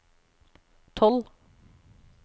tolv